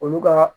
Olu ka